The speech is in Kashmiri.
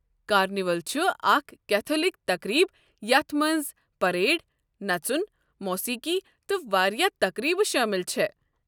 کارنیول چھُ اکھ کیتھولک تقریٖب یتھ مَنٛز پریڈ، نژُن، موسیٖقی تہٕ واریاہ تقریبہٕ شٲمِل چھےٚ۔